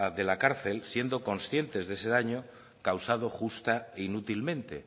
de la cárcel siendo conscientes de ese daño causado justa e inútilmente